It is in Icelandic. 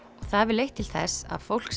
það hefur leitt til þess að fólk